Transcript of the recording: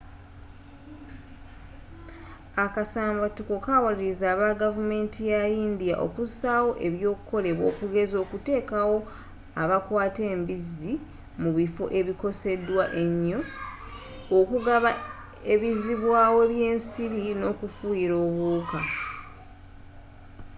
akasambatuko kawaliriza abagavumenti yayindiya okusaawo ebyokolebwa okugeza okutekawo abakwata embizzi mu bifo ebikosedwa enyo okugaba ebizibwawo byensiri nokufuyira obuwuka